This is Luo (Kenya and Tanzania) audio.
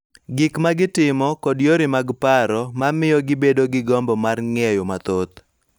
Gik ma gitimo, kod yore mag paro, ma miyo gibedo gi gombo mar ng�eyo mathoth